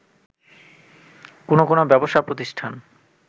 কোনো কোনো ব্যবসা প্রতিষ্ঠান